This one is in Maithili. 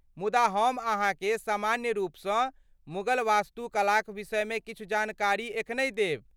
मुदा हम अहाँकेँ सामान्य रूपसँ मुगल वास्तुकलाक विषयमे किछु जानकारी एखनहि देब।